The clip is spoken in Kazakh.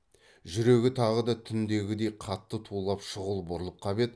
жүрегі тағы да түндегідей қатты тулап шұғыл бұрылып қап еді